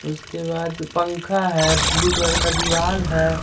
उसके बाद पंखा है ब्लू कलर का दीवाल है।